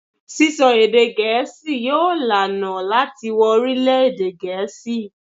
Sisọ èdè Gẹẹsi yóò laná láti wo orilẹ-ede Gẹẹsi